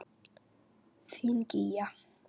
Þín Gígja.